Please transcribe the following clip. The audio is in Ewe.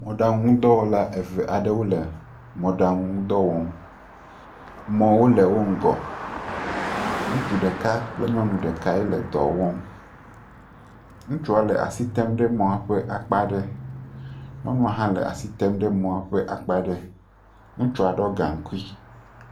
Mɔɖaŋuŋdɔwɔla eve aɖewo le mɔɖaŋu ŋdɔ wɔm mɔwo le wo ŋgɔ, ŋutsu ɖeka kple nyɔnu ɖekae le dɔ wɔm, ŋutsua le asi tem ɖe mɔ ƒe akpa aɖe, nyɔnua leas item ɖe mɔaƒe akpa aɖe ŋutsua ɖɔ gaŋkui.